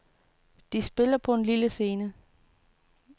De spiller på en lille scene.